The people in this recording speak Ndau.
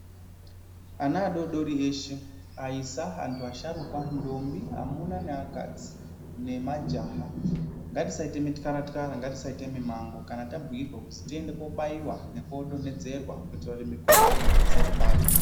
Ana adodori eshe aisa, antu asharuka ,ndombi ,amuna neakadzi nemajaha ngatisaite mityaratyara, ngatisaite mimango kana tabhuyirwa kuti tiende kobaiwa nekoo donhedzerwa kuitira kuti mikhuhlani isatibata.